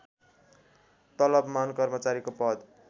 तलबमान कर्मचारीको पद